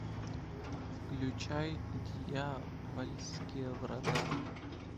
включай дьявольские врата